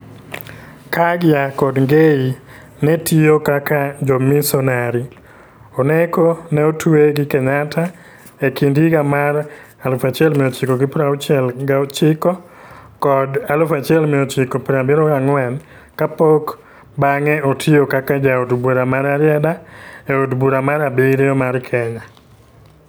Kaggia kod Ngei ne tiyo kaka jomisonari; Oneko ne otwe gi Kenyatta e kind higa mar 1969 kod 1974, kapok bang'e otiyo kaka Jaod Bura ma Rarieda e Od Bura mar abiriyo mar Kenya.